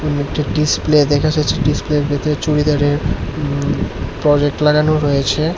এখন একটি ডিসপ্লে দেখা যাচ্ছে ডিসপ্লের ভেতরে চুরিদারের হুম প্রজেক্ট লাগানো রয়েছে।